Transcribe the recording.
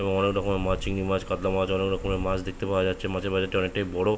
এবং অনকে রকমের মাছ চিংড়ি মাছ কাতলা মাছ অনকে রকমের মাছ দেখতে পাওয়া যাচ্ছে। মাছের বাজারটা অনেকটাই বড়ো - ও --